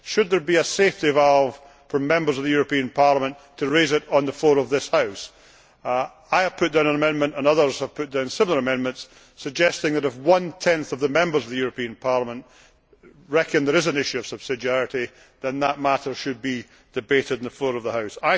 Should there be a safety valve for Members of the European Parliament to raise the matter on the floor of this House? I have put down an amendment, and others have put down similar amendments, suggesting that if one tenth of the Members of the European Parliament reckon there is an issue of subsidiarity, then that matter should be debated on the floor of the House.